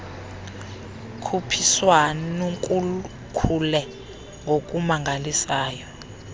khuphiswan kukhule ngokumangalisayo